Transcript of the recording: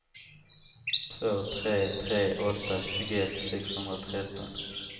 två tre tre åtta tjugoett sexhundratretton